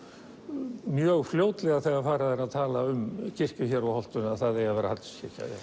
mjög fljótlega þegar farið er að tala um kirkju hér á holtinu að það eigi að vera Hallgrímskirkja